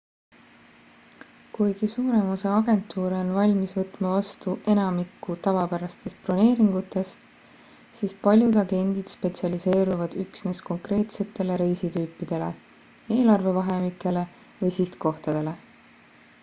kuigi suurem osa agentuure on valmis võtma vastu enamikku tavapärastest broneeringutest siis paljud agendid spetsialiseeruvad üksnes konkreetsetele reisitüüpidele eelarve vahemikele või sihtkohtadele